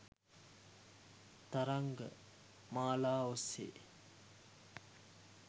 තරංග මාලා ඔස්සේ